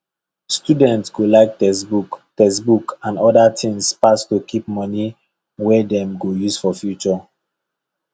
student go like textbook textbook and other tins pass to keep money wey dem go use for future